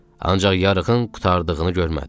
Ancaq yarığın qurtardığını görmədi.